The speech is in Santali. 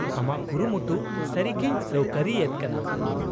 -ᱟᱢᱟᱜ ᱠᱩᱨᱩᱢᱩᱴᱩ ᱥᱟᱹᱨᱤᱜᱮᱧ ᱥᱟᱹᱣᱠᱟᱹᱨᱤ ᱮᱫ ᱠᱟᱱᱟ ᱾